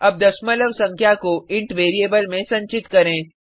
अब दशमलव संख्या को इंट वेरिएबल में संचित करें